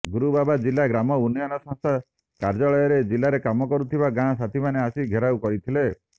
ଗୁରୁବାର ଜିଲା ଗ୍ରାମ୍ୟ ଉନ୍ନୟନ ସଂସ୍ଥା କାର୍ୟ୍ୟାଳୟରେ ଜିଲାରେ କାମ କରୁଥିବା ଗାଁ ସାଥୀମାନେ ଆସି ଘେରାଉ କରିଥିଲେ